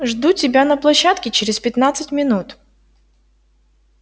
жду тебя на площадке через пятнадцать минут